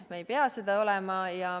Me ei pea seda olema.